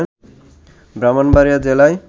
ব্রাহ্মণবাড়ীয়া জেলায়